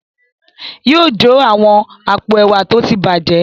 Yóò jó àwọn àpò ẹ̀wà tó ti bàjẹ́.